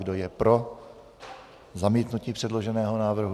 Kdo je pro zamítnutí předloženého návrhu?